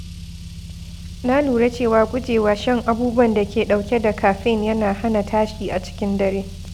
Na lura cewa gujewa shan abubuwan da ke ɗauke da caffeine yana hana tashi a cikin dare.